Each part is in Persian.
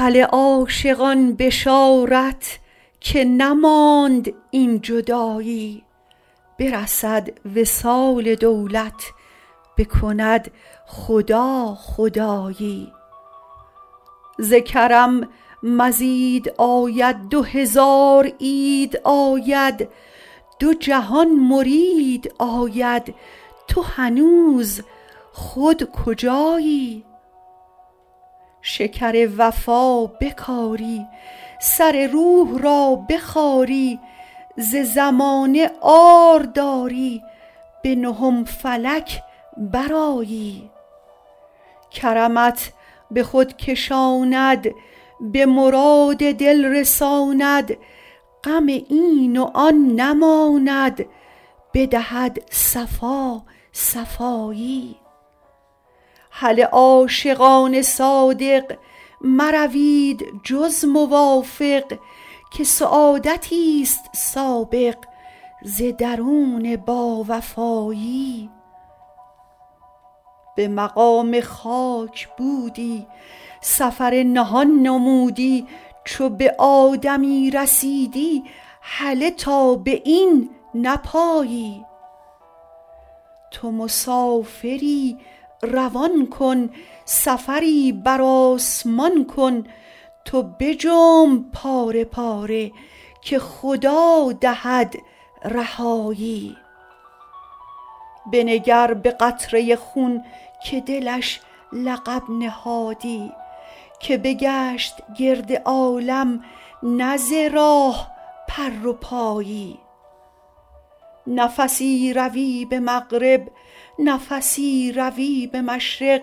هله عاشقان بشارت که نماند این جدایی برسد وصال دولت بکند خدا خدایی ز کرم مزید آید دو هزار عید آید دو جهان مرید آید تو هنوز خود کجایی شکر وفا بکاری سر روح را بخاری ز زمانه عار داری به نهم فلک برآیی کرمت به خود کشاند به مراد دل رساند غم این و آن نماند بدهد صفا صفایی هله عاشقان صادق مروید جز موافق که سعادتی است سابق ز درون باوفایی به مقام خاک بودی سفر نهان نمودی چو به آدمی رسیدی هله تا به این نپایی تو مسافری روان کن سفری بر آسمان کن تو بجنب پاره پاره که خدا دهد رهایی بنگر به قطره خون که دلش لقب نهادی که بگشت گرد عالم نه ز راه پر و پایی نفسی روی به مغرب نفسی روی به مشرق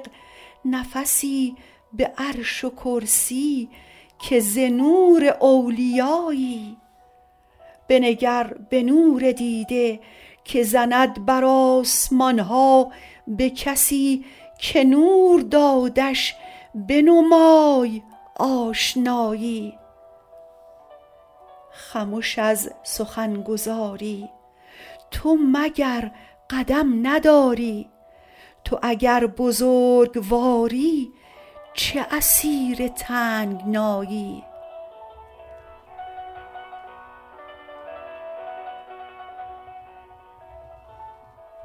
نفسی به عرش و کرسی که ز نور اولیایی بنگر به نور دیده که زند بر آسمان ها به کسی که نور دادش بنمای آشنایی خمش از سخن گزاری تو مگر قدم نداری تو اگر بزرگواری چه اسیر تنگنایی